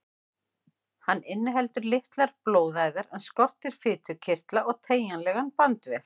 Hann inniheldur litlar blóðæðar en skortir fitukirtla og teygjanlegan bandvef.